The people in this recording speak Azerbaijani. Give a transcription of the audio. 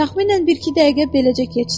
Təxminən bir-iki dəqiqə beləcə keçdi.